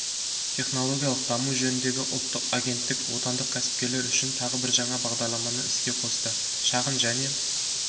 технологиялық даму жөніндегі ұлттық агенттік отандық кәсіпкерлер үшін тағы бір жаңа бағдарламаны іске қосты шағын және